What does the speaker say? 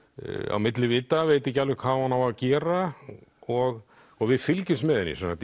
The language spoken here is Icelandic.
á milli vita veit ekki alveg hvað hún á að gera og og við fylgjumst með henni